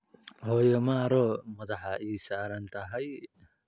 Hooyo maro madaxa ii saartay.